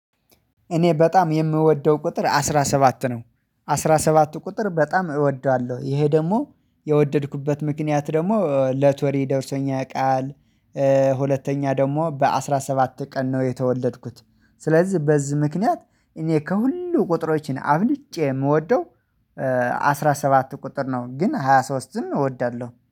እኔ በጣም የምወደው ቁጥር አስራ ሰባት ነው። አስራ ሰባት ቁጥር በጣም እወደዋለሁ ይሄ ደግሞ የወደድኩበት ምክንያት ደግሞ ለቶሪ ደርሶኛ ያቃል። ሁለተኛ ደግሞ በአስራ ሰባት ቀን ነው የተወለድኩት። ስለዚህ በዚህ ምክንያት እኔ ከሁሉ ቁጥሮችን አብልጬ የምወደው አስራ ሰባት ቁጥር ነው። ግን ሃያ ሶስትም እወዳለሁ